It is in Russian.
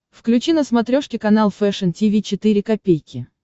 включи на смотрешке канал фэшн ти ви четыре ка